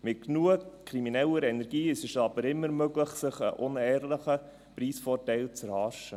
Mit genug krimineller Energie ist es aber immer möglich, sich einen unehrlichen Preisvorteil zu erhaschen.